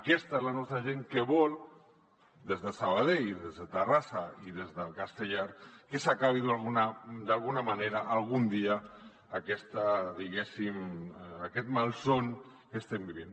aquesta és la nostra gent que vol des de sabadell i des de terrassa i des de castellar que s’acabi d’alguna manera algun dia diguéssim aquest malson que estem vivint